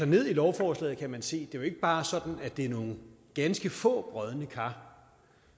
ned i lovforslaget kan man se at det ikke bare er sådan at det er nogle ganske få brodne kar